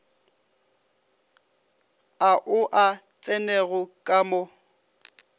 ao a tsenego ka mo